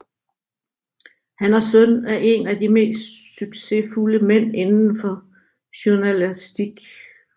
Han er søn af en af de mest succesfulde mænd indenfor journalastik